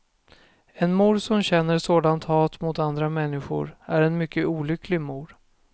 En mor som känner sådant hat mot andra människor är en mycket olycklig mor.